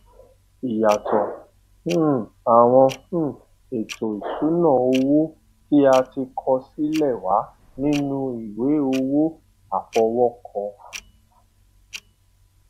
ìyàsótò um àwọn um ètò ìṣúná owó tí a ti kọ sílè wà nínu ìwé owó àfọwókọ